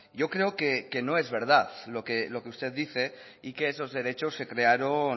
yo creo que no es verdad lo que usted dice y que esos derechos se crearon